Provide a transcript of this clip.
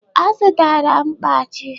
Ọ zụtara mkpachi?